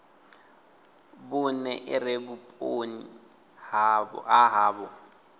vhune ire vhuponi ha havho